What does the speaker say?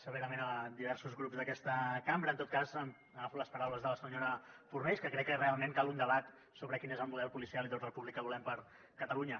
severament diversos grups d’aquesta cambra en tot cas agafo les paraules de la senyora fornells que crec que realment cal un debat sobre quin és el model policial i d’ordre públic que volem per a catalunya